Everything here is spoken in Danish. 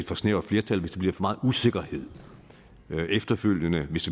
for snævert flertal hvis der bliver for meget usikkerhed efterfølgende hvis